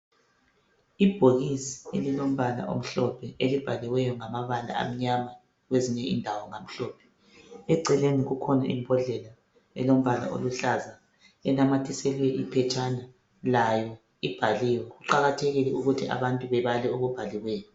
Ibhokisi elibhaliweyo ngamabala amnyama kwezinye indawo ngamhlophe eceleni kukhona imbodlela elombala omhlophe onamathiselwe iphetshena layo ibhaliwe kuqakathekile ukuthi abantu bebale okubhaliweyo